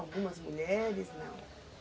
Algumas mulheres, não?